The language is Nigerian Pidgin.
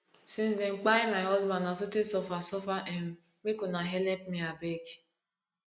since dem kpai my husband na sote suffer suffer um make una helep me abeg